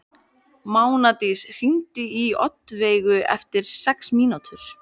Mánadís, hringdu í Oddveigu eftir sex mínútur.